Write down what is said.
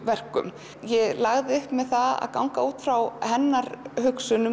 verkum ég lagði upp með það að ganga út frá hennar hugsun um